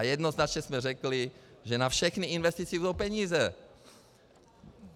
A jednoznačně jsme řekli, že na všechny investice budou peníze.